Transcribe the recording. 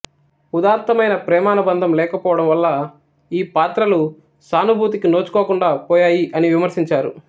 ఉదాత్తమైన ప్రేమానుబంధం లేకపోవడం వల్ల ఈ పాత్రలు సానుభూతికి నోచుకోకుండా పోయాయి అని విమర్శించారు